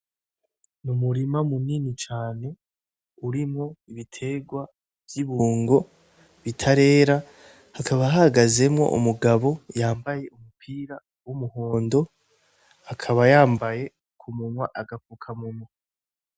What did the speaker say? Umurima munini cane urimwo ibitegwa vyibungo bitarera hakaba hahagazemwo umugabo yambaye umupira wumuhondo akaba yambaye kumunwa agafukamunwa